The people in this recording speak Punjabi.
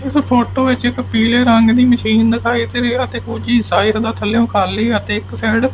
ਇਸ ਫੋਟੋ ਵਿੱਚ ਇੱਕ ਹੀਰੋ ਬਾਈਕ ਇਕ ਆਦਮੀ ਇਕ ਟਰੱਕ ਪੀਲੇ ਰੰਗ ਦਾ ਅਤੇ ਇੱਕ ਰੰਗ ਬਰੰਗਾ ਟਰੱਕ --